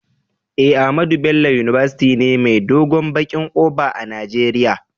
Eh, Ahmadu Bello university ne mai dogon bakin kofa a nageria.